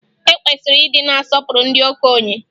E kwesịrị ịdị na-asọpụrụ ndị okenye